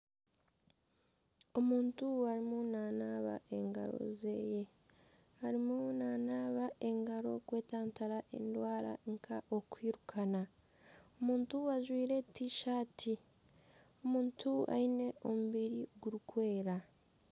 Omuntu arimu nanaaba engaro ze, nanaaba engaro kwetantara endwara nk'okwirukana ajwaire tishati aine omubiri gurikwera